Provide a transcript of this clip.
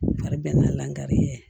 Fari bɛna lankari ye